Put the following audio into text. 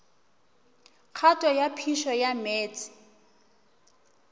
kgato ya phišo ya meetse